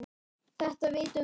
Þetta vitum við.